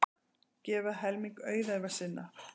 Gefa helming auðæfa sinna